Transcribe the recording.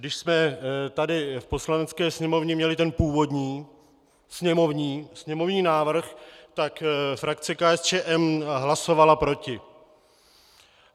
Když jsme tady v Poslanecké sněmovně měli ten původní sněmovní návrh, tak frakce KSČM hlasovala proti.